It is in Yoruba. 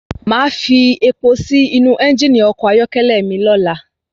Máa fi epo sí inú ẹ́ngìnì ọkọ̀ ayọ́kẹ́lẹ́ mi ọlá.